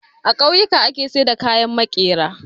A kauyuka ake saida kayan makera